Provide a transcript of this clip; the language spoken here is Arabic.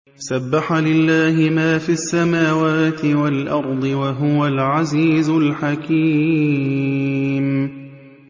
سَبَّحَ لِلَّهِ مَا فِي السَّمَاوَاتِ وَالْأَرْضِ ۖ وَهُوَ الْعَزِيزُ الْحَكِيمُ